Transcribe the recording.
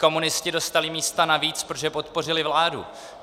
Komunisté dostali místa navíc, protože podpořili vládu.